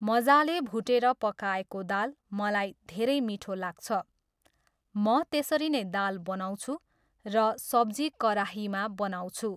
मजाले भुटेर पकाएको दाल मलाई धेरै मिठो लाग्छ। म त्यसरी नै दाल बनाउँछु र सब्जी कराहीमा बनाउँछु।